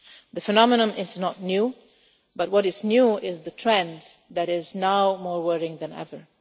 The phenomenon is not new, but what is new is the trend that is now more worrying than ever.